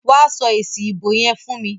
Wa sọ èsì ìbò yẹn fún mi.